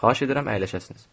Xahiş edirəm əyləşəsiniz.